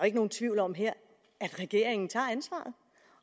ikke nogen tvivl om her at regeringen tager ansvaret